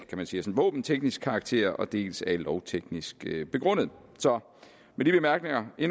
våbenteknisk karakter dels er lovteknisk begrundet så med de bemærkninger vil